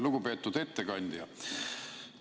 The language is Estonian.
Lugupeetud ettekandja!